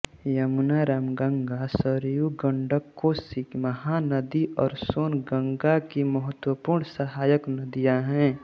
यमुना रामगंगा सरयू गंडक कोसी महानदी और सोन गंगा की महत्त्वपूर्ण सहायक नदियाँ है